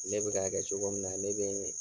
Ne bi ka kɛ cogo min na, ne be n